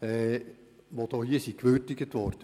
die her gewürdigt wurden.